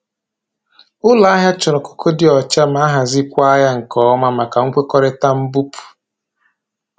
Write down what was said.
Ụlọ ahịa chọrọ kooko dị ọcha ma ahazikwa ya nke ọma maka nkwekọrịta mbupụ.